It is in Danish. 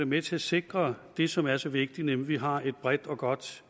med til at sikre det som er så vigtigt nemlig at vi har et bredt og godt